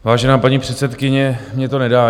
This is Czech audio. Vážená paní předsedkyně, mně to nedá.